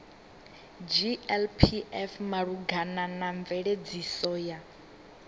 glpf malugana na mveledziso ya